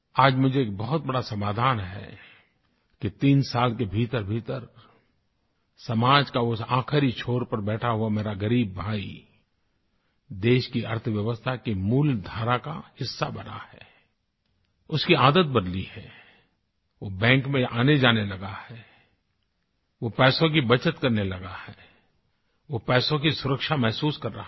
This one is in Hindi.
आज मुझे एक बहुत बड़ा समाधान है कि तीन साल के भीतरभीतर समाज के उस आख़िरी छोर पर बैठा हुआ मेरा ग़रीब भाई देश की अर्थव्यवस्था के मूलधारा का हिस्सा बना है उसकी आदत बदली है वो बैंक में आनेजाने लगा है वो पैसों की बचत करने लगा है वो पैसों की सुरक्षा महसूस कर रहा है